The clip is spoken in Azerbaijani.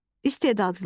istedadlı,